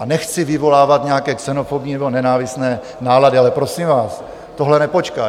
A nechci vyvolávat nějaké xenofobní nebo nenávistné nálady, ale prosím vás, tohle nepočká.